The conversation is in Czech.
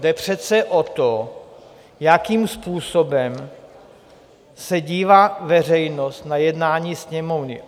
Jde přece o to, jakým způsobem se dívá veřejnost na jednání Sněmovny.